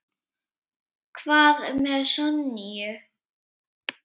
Hvað með Sonju?